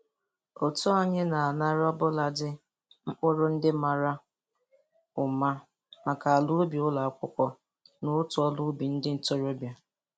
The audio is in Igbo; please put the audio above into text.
Otu anyị na-anara obụladị mkpụrụ ndị mara ụma maka ala ubi ụlọ akwụkwọ na otu ọrụ ubi ndị ntorobịa.